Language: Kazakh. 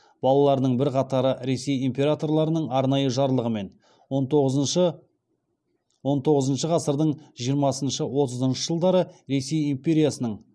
балаларының бірқатары ресей императорларының арнайы жарлығымен он тоғызыншы ғасырдың жиырмасыншы отызыншы жылдары ресей империясының